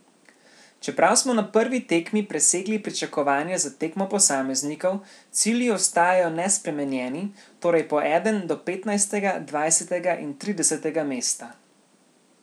Čeprav smo na prvi tekmi presegli pričakovanja za tekmo posameznikov, cilji ostajajo nespremenjeni, torej po eden do petnajstega, dvajsetega in tridesetega mesta.